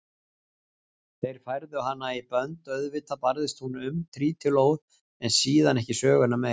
Þeir færðu hana í bönd, auðvitað barðist hún um trítilóð en síðan ekki söguna meir.